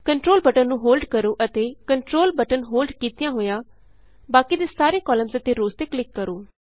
control button ਨੂੰ hold ਕਰੋ ਅਤੇ ਕੰਟਰੋਲ ਬਟਨ ਹੋਲਡ ਕੀਤਿਆਂ ਹੋਇਆ ਬਾਕੀ ਦੇ ਸਾਰੇ ਕਾਲਮਸ ਅਤੇ ਰੋਅਸ ਤੇ ਕਲਿਕ ਕਰੋ